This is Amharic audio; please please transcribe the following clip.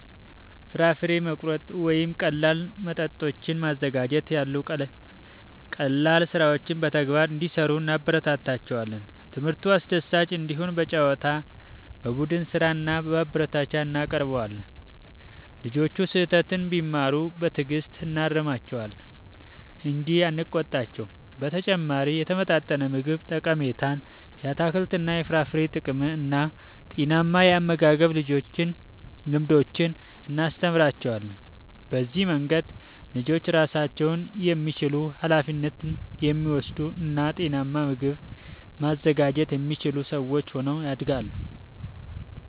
ፍራፍሬ መቁረጥ ወይም ቀላል መጠጦችን ማዘጋጀት ያሉ ቀላል ሥራዎችን በተግባር እንዲሠሩ እናበረታታቸዋለን። ትምህርቱ አስደሳች እንዲሆን በጨዋታ፣ በቡድን ሥራ እና በማበረታቻ እናቀርበዋለን። ልጆቹ ስህተት ቢሠሩ በትዕግሥት እናርማቸዋለን እንጂ አንቆጣቸውም። በተጨማሪም የተመጣጠነ ምግብ ጠቀሜታን፣ የአትክልትና የፍራፍሬ ጥቅምን እና ጤናማ የአመጋገብ ልምዶችን እናስተምራቸዋለን። በዚህ መንገድ ልጆች ራሳቸውን የሚችሉ፣ ኃላፊነት የሚወስዱ እና ጤናማ ምግብ ማዘጋጀት የሚችሉ ሰዎች ሆነው ያድጋሉ።